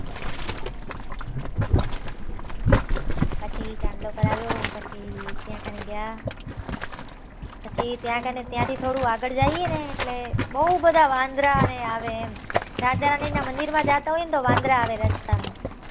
પછી ચાંદલો કરાવ્યો પછી ત્યાં કને ગયા પછી ત્યાં થી થોડું આગળ જયીએ ને એટલે બહુ બધા વાંદરા ને આવે એમ રાજા રાની ના મંદિર માં જાતા હોય તો વાંદરા આવે રસ્તા માં